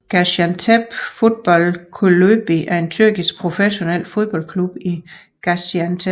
Gaziantep Futbol Kulübü er en tyrkisk professionel fodboldklub i Gaziantep